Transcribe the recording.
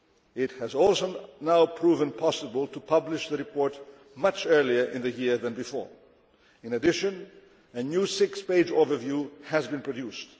It has also now proven possible to publish the report much earlier in the year than before. In addition, a new six page overview has been produced.